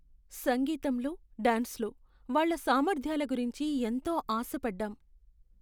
సంగీతంలో, డాన్స్లో వాళ్ళ సామర్ధ్యాల గురించి ఎంతో ఆశపడ్డాం.